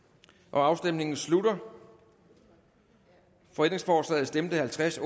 afstemningen slutter for stemte halvtreds